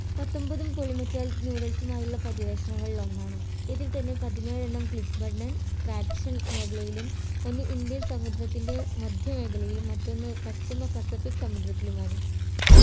പത്തൊമ്പതും polymetallic മായുള്ള പര്യവേക്ഷണങ്ങളിൽ ഒന്നാണ് ഇതിൽ തന്നെ പതിനേഴെണ്ണം traction മേഖലയിലും ഒന്ന് indian സമുദ്രത്തിൻ്റെ മധ്യ മേഖലയിലും മറ്റൊന്ന് പശ്ചിമ പസിഫിക് സമുദ്രത്തിലുമാണ്.